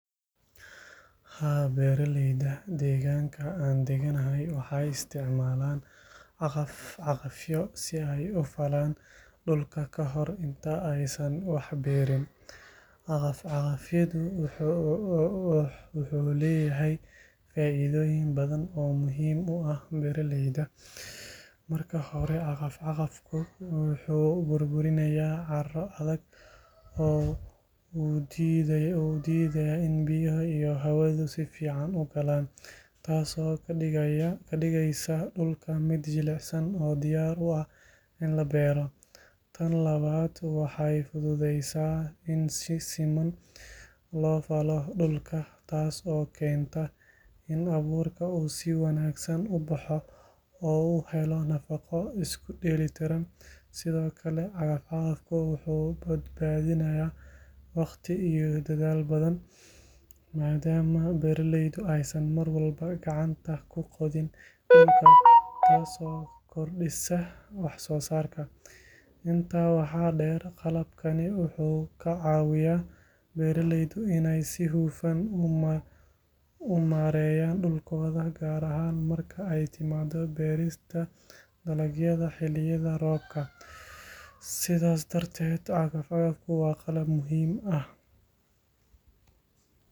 Haa, beeraleyda deegaanka aan deganahay waxay isticmaalaan cagaf-cagafyo si ay u falaan dhulka ka hor inta aysan wax beerin. Cagaf-cagafku wuxuu leeyahay faa’iidooyin badan oo muhiim u ah beeraleyda. Marka hore, cagaf-cagafku wuxuu burburinayaa carro adag oo u diidayay in biyaha iyo hawadu si fiican u galaan, taasoo ka dhigaysa dhulka mid jilicsan oo diyaar u ah in la beero. Tan labaad, waxay fududeysaa in si siman loo falo dhulka, taas oo keenta in abuurka uu si wanaagsan u baxo oo uu helo nafaqo isku dheelitiran. Sidoo kale, cagaf-cagafku wuxuu badbaadiyaa waqti iyo dadaal badan, maadaama beeralaydu aysan mar walba gacanta ku qodin dhulka, taasoo kordhisa wax-soosaarka. Intaa waxaa dheer, qalabkani wuxuu ka caawiyaa beeraleyda inay si hufan u maareeyaan dhulkooda, gaar ahaan marka ay timaado beerista dalagyada xilliyada roobka. Sidaas darteed, cagaf-cagafku waa qalab muhiim ah.